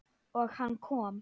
Og hann kom.